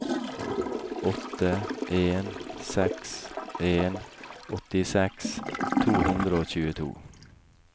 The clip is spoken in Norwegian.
åtte en seks en åttiseks to hundre og tjueto